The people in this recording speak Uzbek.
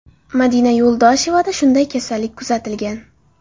Madina Yo‘ldoshevada shunday kasallik kuzatilgan.